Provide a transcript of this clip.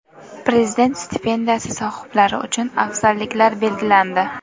Prezident stipendiyasi sohiblari uchun afzalliklar belgilandi.